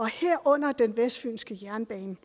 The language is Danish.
herunder den vestfynske jernbane